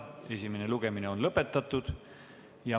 Esimene lugemine on lõpetatud.